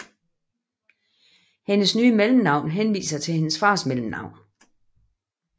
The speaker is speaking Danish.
Hendes nye mellemnavn henviser til hendes fars mellemnavn